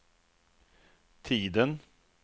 tiden